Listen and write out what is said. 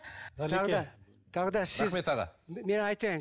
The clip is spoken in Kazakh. тағы да тағы да рахмет аға мен айтайын